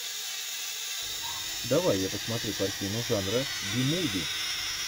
давай я посмотрю картину жанра би муви